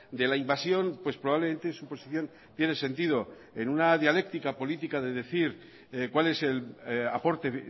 de la invasión pues probablemente su posición tiene sentido en una dialéctica política de decir cuál es el aporte